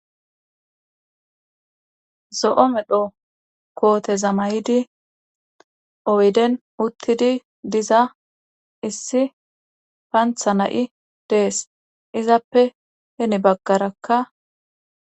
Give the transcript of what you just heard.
zo7o medho kooteza may7idi oyden uttidi diza issi pantha na7i dees izappe heni baggarakka